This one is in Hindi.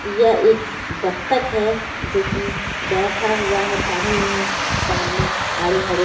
यह एक बत्तक है जो कि बैठा हुआ है पानी में सामने हरे हरे--